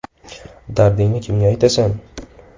Dardingni kimga aytasan?